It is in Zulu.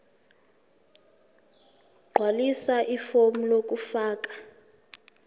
gqwalisa ifomu lokufaka